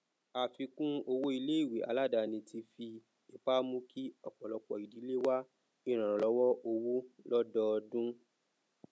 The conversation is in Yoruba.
àfikún owó iléìwé aladani ti fi ipá mú kí ọpọlọpọ ìdílé wá ìrànlọwọ owó lọdọodún